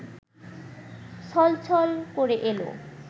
ছলছল করে এল